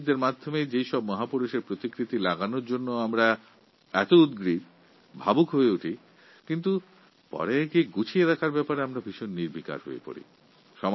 সাধারণ নাগরিক হিসাবে এই মহাপুরুষদের প্রতিকৃতি স্থাপনের ব্যাপারে আমরা যতটা উৎসাহী ও আবেগপ্রবণ এগুলির রক্ষণাবেক্ষণের ব্যাপারে আমরা ততটাই উদাসীন